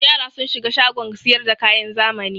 Yara sun shiga shagon sayar da kayan zamani.